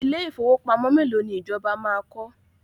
Ilé ìfowópamọ́ mélòó ni ìjọba máa kọ́?